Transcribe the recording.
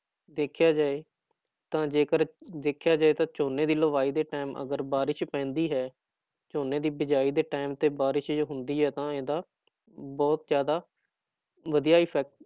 ਦੇਖਿਆ ਜਾਏ ਤਾਂ ਜੇਕਰ ਦੇਖਿਆ ਜਾਏ ਤਾਂ ਝੋਨੇ ਦੀ ਲਵਾਈ ਦੇ time ਅਗਰ ਬਾਰਿਸ਼ ਪੈਂਦੀ ਹੈ, ਝੋਨੇ ਦੀ ਬੀਜਾਈ ਦੇ time ਤੇ ਬਾਰਿਸ਼ ਜੇ ਹੁੰਦੀ ਹੈ ਤਾਂ ਇਹਦਾ ਬਹੁਤ ਜ਼ਿਆਦਾ ਵਧੀਆ effect